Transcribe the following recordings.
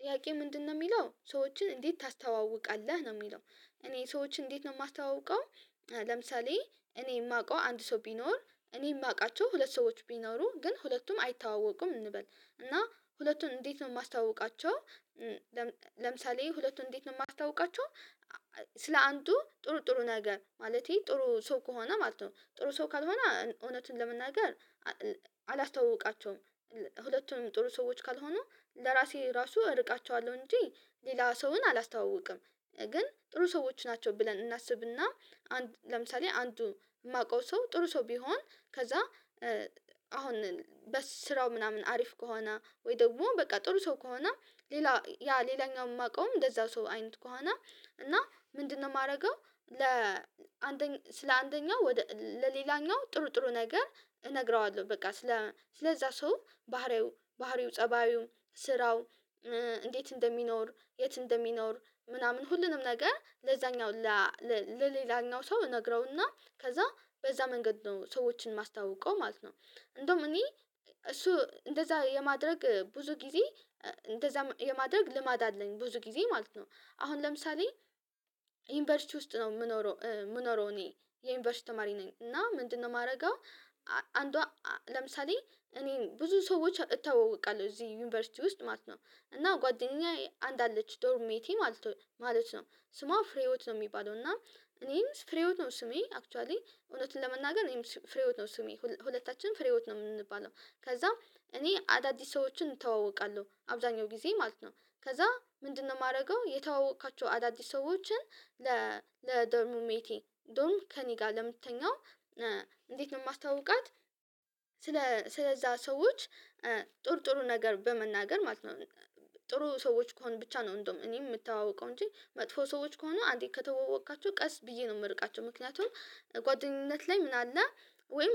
ጥያቄው ምንድነው የሚለው ሰዎችን እንዴት ታስተዋውቃለህ ነው የሚለው? እኔ ሰዎችን እንዴት ነው የማስተዋውቀው? ለምሳሌ እኔ የማውቀው አንድ ሰው ቢኖር እኔ የማውቃቸው ሁለት ሰዎች ቢኖሩ ግን ሁለቱም አይተዋወቁም እንበል እና ሁለቱን እንዴት ነው የማስተዋውቃቸው? ለምሳሌ ሁለቱን እንዴት ነው የማስተዋውቃቸው? ስለ አንዱ ጥሩ ጥሩ ነገር ማለቴ ጥሩ ሰው ከሆነ ማለት ነው ጥሩ ሰው ካልሆነ እውነቱን ለመናገር አላስተዋውቃቸውም። ሁለቱም ጥሩ ሰዎች ካልሆኑ ለራሴ ራሱ እርቃቸዋለሁ እንጂ ሌላ ሰውን አላስተዋውቅም። ግን ጥሩ ሰዎች ናቸው ብለን እናስብና አንድ ለምሳሌ አንዱ የማውቀው ሰው ጥሩ ሰው ቢሆን ከዛ አሁን በስራው ምናምን አሪፍ ከሆነ ወይ ደግሞ በቃ ጥሩ ሰው ከሆነ ሌላ ያ ሌላኛው የማውቀውም እንደዛ ሰው አይነት ከሆነ እና ምንድነው የማደርገው? ለአንደኝ ስለ አንደኛው ወደ ለሌላኛው ጥሩ ጥሩ ነገር እነግረዋለው በቃ ስለ ስለዛ ሰው ባህሪው ባህሪው ፀባዩ ስራው እንዴት እንደሚኖር የት እንደሚኖር ምናምን ሁሉንም ነገር ለዛኛው ለሌላኛው ሰው እነግረውና ከዛ በዛ መንገድ ነው ሰዎችን የማስተዋውቀው ማለት ነው። እንደውም እኔ እሱ እንደዛ የማድረግ ብዙ ጊዜ እንደዛ የማድረግ ልማድ አለኝ ብዙ ጊዜ ማለት ነው። አሁን ለምሳሌ ዩኒቨርሲቲ ውስጥ ነው የምኖረው የምኖረው እኔ የዩኒቨርሲቲ ተማሪ ነኝ እና ምንድነው የማደርገው? አንዷ ለምሳሌ እኔ ብዙ ሰዎች እተዋወቃለሁ እዚህ ዩኒቨርሲቲ ውስጥ ማለት ነው። እና ጓደኛዬ አንድ አለች ዶርም ሜቴ ማለት ነው ማለት ነው ስሟ ፍሬሂወት ነው የሚባለው እና እኔም ፍሬሂወት ነው ስሜ አክቹዋሊ እውነቱን ለመናገር እኔም ፍሬሂወት ነው ስሜ ሁለታችንም ፍሬሂወት ነው የምንባለው። ከዛ እኔ አዳዲስ ሰዎችን እተዋወቃለሁ አብዛኛው ጊዜ ማለት ነው። ከዛ ምንድነው የማደርገው የተዋወቅኳቸው አዳዲስ ሰዎችን ለ ለዶርም ሜቴ ዶርም ከእኔ ጋር ለምትተኛው። እንዴት ነው የማስተዋውቃት? ስለ ስለዛ ሰዎች ጥሩጥሩ ነገር በመናገር ማለት ነው። ጥሩ ሰዎች ከሆኑ ብቻ ነው እንደውም እኔም የምተዋወቀው እንጂ መጥፎ ሰዎች ከሆኑ አንዴ ከተዋወቅኳቸው ቀስ ብዬ ነው የምርቃቸው ምክንያቱም ጓደኝነት ላይ ምን አለ? ወይም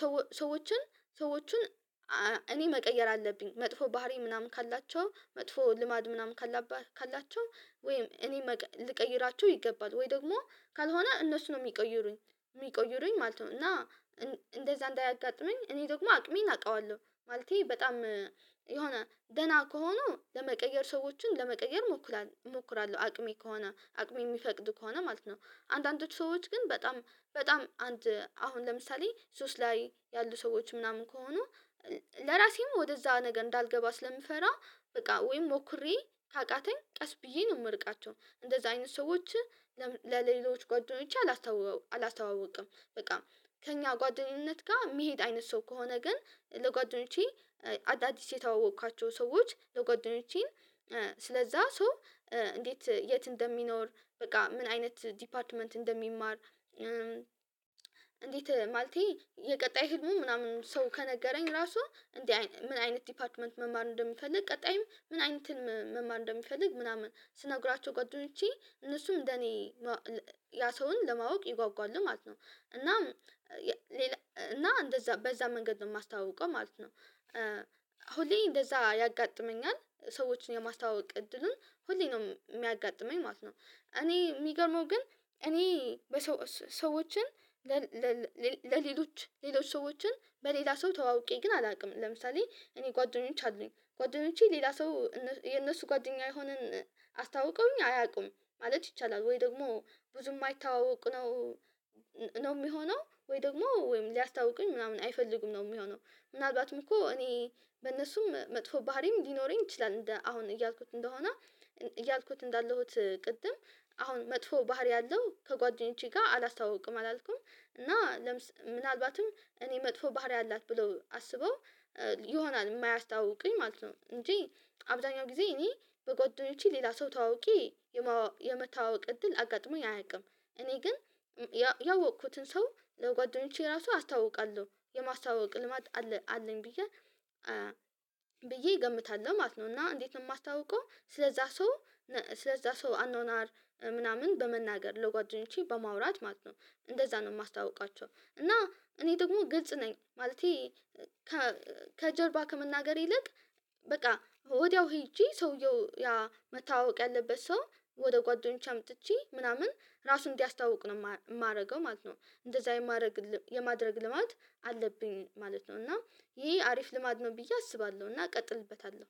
ሰዎ ሰዎችን ሰዎቹን እኔ መቀየር አለብኝ መጥፎ ባህሪ ምናምን ካላቸው መጥፎ ልማድ ምናምን ካለባ ካላቸው። ወይም እኔ ልቀይራችሁ ይገባል ወይ ደግሞ ካልሆነ እነሱ ነው የሚቀይሩኝ። የሚቀይሩኝ ማለት ነው እና። እንደዛ እንዳያጋጥመኝ እኔ ደግሞ አቅሜን አውቀዋለሁ ማለቴ በጣም የሆነ ደህና ከሆኑ ለመቀየር ሰዎችን ለመቀየር እሞክራለሁ አቅሜ ከሆነ አቅሜ የሚፈቅድ ከሆነ ማለት ነው። አንዳንዶቹ ሰዎች ግን በጣም በጣም አንድ አሁን ለምሳሌ ሱስ ላይ ያሉ ሰዎች ምናምን ከሆኑ። ለራሴም ወደዛ ነገር እንዳልገባ ስለምፈራ በቃ ወይም ሞክሬ ካቃተኝ ቀስ ብዬ ነው የምርቃቸው እንደዛ አይነት ሰዎች። ለሌሎች ጓደኞቼ አላስተዋው አላስተዋውቅም በቃ። ከእኛ ጓደኝነት ጋር የሚሄድ አይነት ሰው ከሆነ ግን ለጓደኞቼ አዳዲስ የተዋወቅኳቸው ሰዎች ለጓደኞቼ ስለዛ ሰው እንዴት የት እንደሚኖር በቃ ምን አይነት ዲፓርትመንት እንደሚማር። እንዴት ማለቴ የቀጣይ ህልሙ ምናምን ሰው ከነገረኝ ራሱ እንዲ ምን አይነት ዲፓርትመንት መማር እንደሚፈልግ ቀጣይም ምን አይነት መማር እንደሚፈልግ ምናምን ስነግራቸው ጓደኞቼ እነሱም እንደኔ ያ ሰውን ለማወቅ ይጓጓሉ ማለት ነው። እና እና እንደዛ በዛ መንገድ ነው የማስታውቀው ማለት ነው። ሁሌ እንደዛ ያጋጥመኛል ሰዎችን የማስታወቅ እድልን ሁሌ ነው የሚያጋጥመኝ ማለት ነው። እኔ የሚገርመው ግን እኔ በሰዎ ሰዎችን። ለሌሎች ሌሎች ሰዎችን በሌላ ሰው ተዋውቄ ግን አላውቅም። ለምሳሌ እኔ ጓደኞቼ አሉኝ ጓደኞቼ ሌላ ሰው የነሱ ጓደኛ የሆነን አስተዋውቀውኝ አያውቁም ማለት ይቻላል ወይ ደግሞ ብዙ የማይተዋወቅ ነው። ነው የሚሆነው ወይ ደግሞ ወይም ሊያስተዋውቁኝ ምናምን አይፈልጉም ነው የሚሆነው። ምናልባትም እኮ እኔ በእነሱም መጥፎ ባህሪም ሊኖረኝ ይችላል እንደ አሁን እያልኩት እንደሆነ እያልኩት እንዳለሁት ቅድም አሁን መጥፎ ባህሪ ያለው ከጓደኞቼ ጋር አላስተዋውቅም አላልኩም። እና ምናልባትም እኔ መጥፎ ባህሪ አላት ብለው አስበው ይሆናል የማያስተዋውቁኝ ማለት ነው። እንጂ አብዛኛው ጊዜ እኔ በጓደኞቼ ሌላ ሰው ተዋውቄ። የመተዋወቅ እድል አጋጥሞኝ አያውቅም እኔ ግን ያወቅኩትን ሰው ለጓደኞቼ ራሱ አስተዋውቃለሁ የማስተዋወቅ ልማድ አለ አለኝ ብዬ። ብዬ እገምታለሁ ማለት ነው። እና እንዴት ነው የማስታውቀው ስለዛ ሰው ስለዛ ሰው አኗኗር ምናምን በመናገር ለጓደኞቼ በማውራት ማለት ነው። እንደዛ ነው የማስተዋውቃቸው እና እኔ ደግሞ ግልጽ ነኝ ማለቴ። ከጀርባ ከመናገር ይልቅ በቃ ወዲያው ሄጄ ሰውየው ያ መተዋወቅ ያለበት ሰው ወደ ጓደኞቼ አምጥቼ ምናምን ራሱን እንዲያስተዋውቅ ነው የማደርገው ማለት ነው። እንደዛ የማደረግ የማድረግ ልማድ አለብኝ ማለት ነው። እና ይሄ አሪፍ ልማድ ነው ብዬ አስባለሁ እና እቀጥልበታለው።